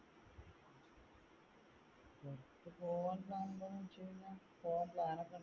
പുറത്തു പോകാൻ plan പോകാൻ plan .